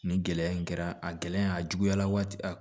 Nin gɛlɛya in kɛra a gɛlɛya a juguyala waati